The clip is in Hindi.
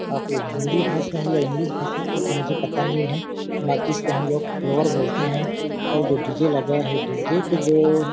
यहा पे हिंदी भाषा है या इंग्लिश भाषा ये तो मुझे पता नहीं हैं बाकि इसको हम लोग फ्लोवर बोल ते है और जो डी_ जे लगा है डी _जे के जो--